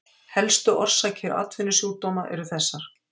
Helstu orsakir atvinnusjúkdóma eru þessar